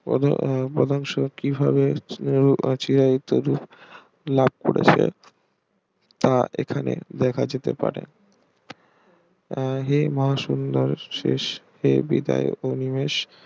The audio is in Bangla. পদ পদ্যাংশ কিভাবে লাভ করা যায় তা এখানে দেখা যেতে পারে হে মা সুন্দর শেষ হে বিদায় উন্মেষ